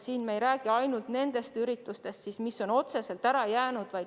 Me ei räägi siin ainult nendest üritustest, mis on otseselt ära jäänud.